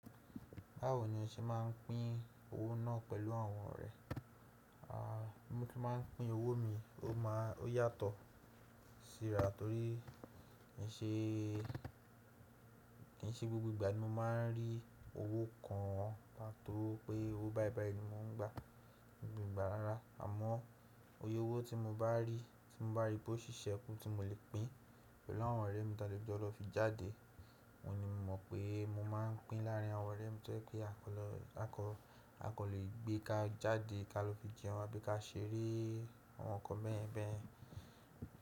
Báwo ni o se máà ń pín owó náà pẹ̀lú àwọn ọ̀rẹ́? A, mo ti máà ń pín owó mi, ó yàtọ̀ síra torí kì í ṣe, kì í ṣe gbogbo ìgbà ni mo máà ń rí owó kan, torí pé owó báí báí ni mo ń gbà ní gbogbo ìgbà rara, àmọ́ bóy'ówó tí mo bá rí, tí mo bá rí pé ó ṣiṣẹ́ kún tí mo lè pín pẹ̀lú àwọn ọ̀rẹ́ mi tí a lè jọ lọ fi jáde, òun ni mo mọ̀ pé mo máa ń pín láàrín àwọn ọ̀rẹ́ mi torí pé a kò lè gbé ká jáde ká lọ fi jẹun àbí ká ṣeré àwọn nǹkan bẹ́yeń bẹ́yeń.